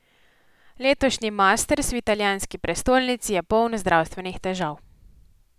Letošnji masters v italijanski prestolnici je poln zdravstvenih težav.